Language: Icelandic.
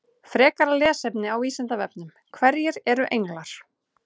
Frekara lesefni á Vísindavefnum: Hverjir eru englar?